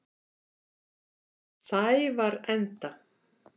Sævarenda